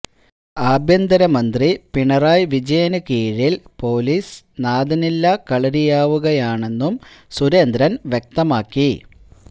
ആഭ്യന്തര മന്ത്രി പിണറായി വിജയന് കീഴില് പൊലീസ് നാഥനില്ലാ കളരിയാവുകയാണെന്നും സുരേന്ദ്രൻ വ്യക്തമാക്കി